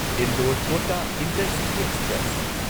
Indore Kota intercity express